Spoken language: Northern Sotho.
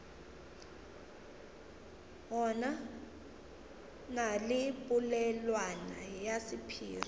na le polelwana ya sephiri